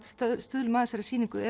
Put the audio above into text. sýningunni